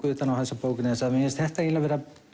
utan á þessa bók vegna þess að mér finnst þetta eiginlega